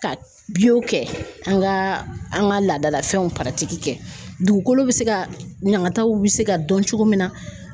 Ka kɛ an ga an ka laadalafɛnw kɛ dugukolo bi se ka ɲagataw bi se ka dɔn cogo min na.